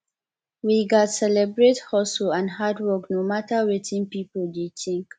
we gats celebrate hustle and hard work no matter wetin pipo dey think